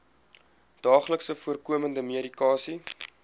daagliks voorkomende medikasie